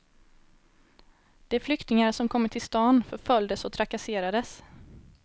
De flyktingar som kommit till stan förföljdes och trakasserades.